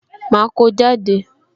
Ma ko jáde